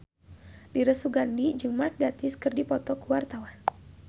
Dira Sugandi jeung Mark Gatiss keur dipoto ku wartawan